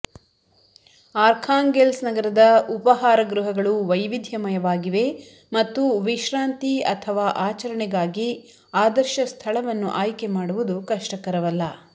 Arkhangelsk ನಗರದ ಉಪಾಹರಗೃಹಗಳು ವೈವಿಧ್ಯಮಯವಾಗಿವೆ ಮತ್ತು ವಿಶ್ರಾಂತಿ ಅಥವಾ ಆಚರಣೆಗಾಗಿ ಆದರ್ಶ ಸ್ಥಳವನ್ನು ಆಯ್ಕೆ ಮಾಡುವುದು ಕಷ್ಟಕರವಲ್ಲ